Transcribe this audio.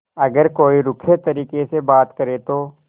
अगर कोई रूखे तरीके से बात करे तो